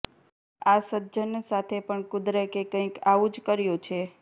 આ સજ્જન સાથે પણ કુદરતે કંઇક આવું જ કર્યું છે